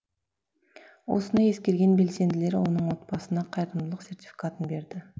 осыны ескерген белсенділер оның отбасына қайырымдылық сертификатын берді